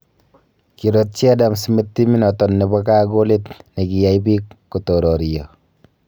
Kirotij Adam Smith timminoton nebo gaa golit negiyaai biik kotoririio.